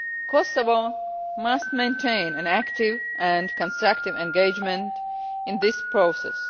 Kosovo must maintain an active and constructive engagement in this process.